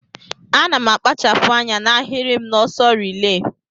Ana akpachapu anya na ahirim na ọsọ relay.